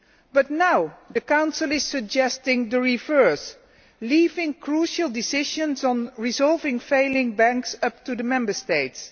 But now the Council is suggesting the reverse leaving crucial decisions on resolving failing banks up to the Member States.